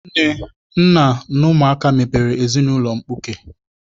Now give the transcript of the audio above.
Nne, nna na ụmụaka mebere ezinaụlọ mkpuke.